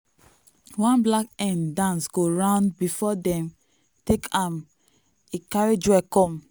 one black hen dance go round before dem take am e carry joy come.